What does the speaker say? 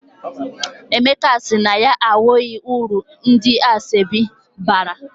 Emeka sị na ya ahụghị uru ndị asọebi bara.